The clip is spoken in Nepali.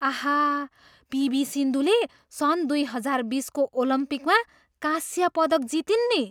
आहा, पिभी सिन्धुले सन् दुई हजार बिसको ओलम्पिकमा कांस्य पदक जितिन् नि।